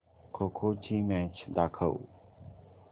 खो खो ची मॅच दाखव